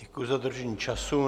Děkuji za dodržení času.